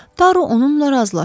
Daro onunla razılaşdı.